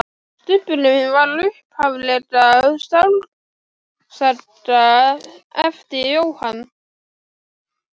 Stubburinn var upphaflega skáldsaga eftir Jóhann